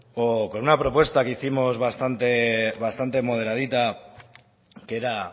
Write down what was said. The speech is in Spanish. o con una propuesta que hicimos bastante moderadita que era